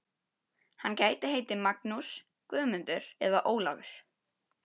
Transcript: Hann gæti heitið Magnús, Guðmundur eða Ólafur.